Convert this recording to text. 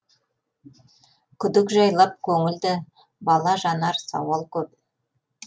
күдік жайлап көңілді бала жанар сауал көп